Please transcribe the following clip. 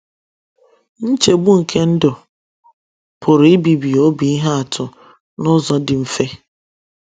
“ NCHEGBU NKE NDỤ ” PỤRỤ IBIBI OBI IHE ATỤ N’ỤZỌ DỊ MFE